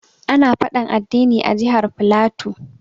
Ana faɗan addini a jihar flatu.